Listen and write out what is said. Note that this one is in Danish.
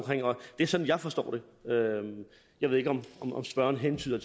det er sådan jeg forstår det jeg ved ikke om spørgeren hentyder